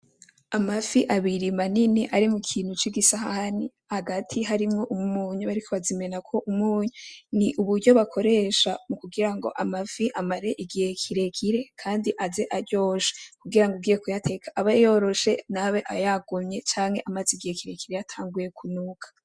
Amafi abiri manini ari mu kintu c'igisahani hagati harimwo umunyu, bariko bazimenako umunyu, ni uburyo bakoresha mu kugira ngo amafi amare igihe kirekire kandi aze aryoshe kugira ngo ugiye kuyateka abe yoroshe ntabe yagumye canke amaze igihe kirekire yatanguye kunuka.